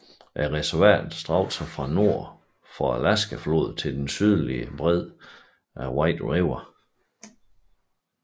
Reservatet strakte sig fra nord for Arkansasfloden til den sydlige bred af White River